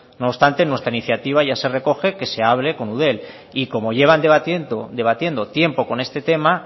no obstante en nuestra iniciativa ya se recoge que se abre con eudel y como llevan debatiendo tiempo con este tema